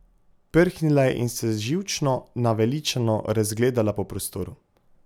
Prhnila je in se živčno, naveličano razgledala po prostoru.